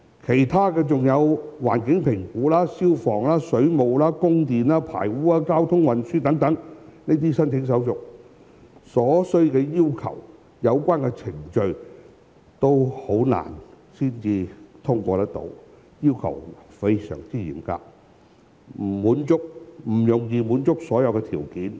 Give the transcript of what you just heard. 此外，還要處理環境評估、消防、水務、供電、排污和交通運輸等申請手續，相關程序難以獲得通過，所需的要求非常嚴格，不容易滿足所有條件。